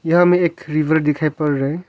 यहां हमें एक रिवर दिखाई पड़ रहा है।